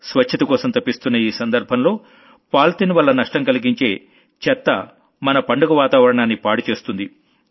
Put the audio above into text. స్వచ్ఛతకోసం తపిస్తున్న ఈ సందర్భంలో పాలిథీన్ వల్ల నష్టం కలిగించే చెత్త మన పండుగ వాతావరణాన్ని పాడు చేస్తుంది